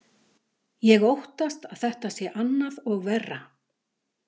Ég óttast að þetta sé annað og verra.